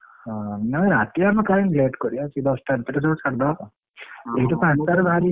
ନା ରାତି ଆମେ କାଇଁ late କରିବା ସେଇ ଦଶଟା ଭିତରେ ସବୁ ସାରିଦେବା ଏଠୁ ପାଞ୍ଚ ଟା ରେ ବାହାରି ଗଲେ ।